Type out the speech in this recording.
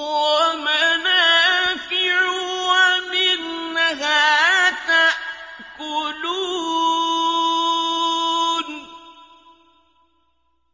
وَمَنَافِعُ وَمِنْهَا تَأْكُلُونَ